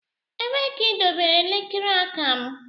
Ebee ka idobere elekere aka m?